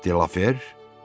Qraf De Lafer?